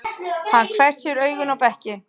Hann hvessir augun á bekkinn.